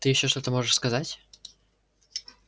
ты ещё что-то можешь сказать